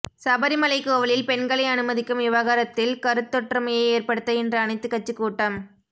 சபரிமலை கோவிலில் பெண்களை அனுமதிக்கும் விவகாரத்தில் கருத்தொற்றுமையை ஏற்படுத்த இன்று அனைத்துக் கட்சிக் கூட்டம்